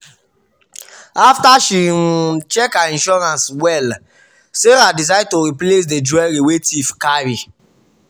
after she um check her insurance well sarah decide to replace the jewelry wey thief carry.